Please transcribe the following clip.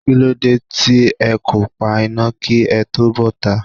Kí ló dé tí ẹ kò pa iná kí ẹ tó bota?